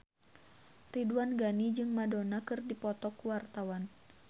Ridwan Ghani jeung Madonna keur dipoto ku wartawan